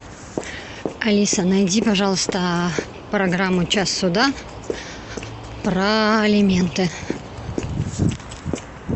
алиса найди пожалуйста программу час суда про алименты